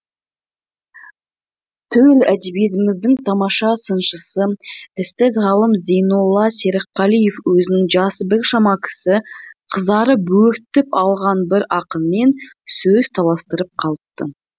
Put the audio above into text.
төл әдебиетіміздің тамаша сыншысы эстет ғалым зейнолла серікқалиев өзін жасы біршама кіші қызара бөртіп алған бір ақынмен сөз таластырып қалыпты